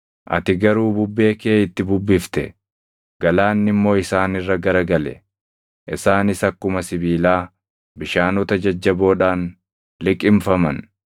Ati garuu bubbee kee itti bubbifte; galaanni immoo isaan irra gara gale. Isaanis akkuma sibiilaa bishaanota jajjaboodhaan liqimfaman.